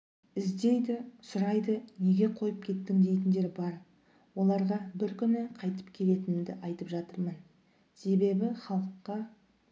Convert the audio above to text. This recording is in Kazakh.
іздейді сұрайды неге қойып кеттің дейтіндер бар оларға бір күні қайтып келетінімді айтып жатырмын себебі халыққа